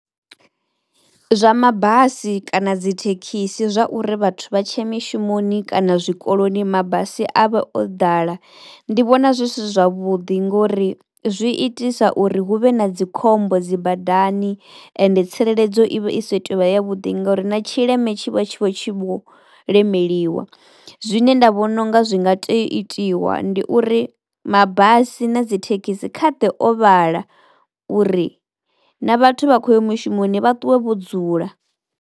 Zwa mabasi kana dzi thekhisi zwa uri vhathu vha tshia mishumoni kana zwikoloni mabasi avhe o ḓala ndi vhona zwi si zwavhuḓi ngori zwi itisa uri huvhe na dzikhombo dzi badani, ende tsireledzo i vha i si tuvha ya vhuḓi ngauri na tshileme tshi vha vho lemeliwa. Zwine nda vhona unga zwi nga tea u itiwa ndi uri mabasi na dzithekhisi kha ḓe o vhala uri na vhathu vha khoya mushumoni vha ṱuwe vho dzula.